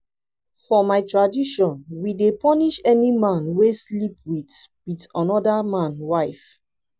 for my tradition we dey punish any man wey sleep wit wit anoda man wife.